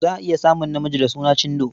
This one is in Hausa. Za a iya samun namiji da suna Chindo.